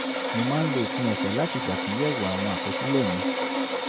mo máa ń lo òpin ọ̀sẹ̀ láti ṣàtúnyẹ̀wò àwọn àkọsílẹ̀ mi